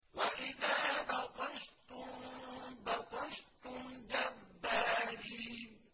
وَإِذَا بَطَشْتُم بَطَشْتُمْ جَبَّارِينَ